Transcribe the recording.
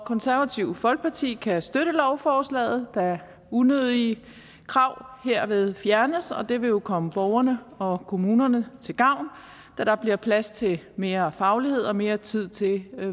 konservative folkeparti kan støtte lovforslaget da unødige krav herved fjernes og det vil komme borgerne og kommunerne til gavn da der bliver plads til mere faglighed og mere tid til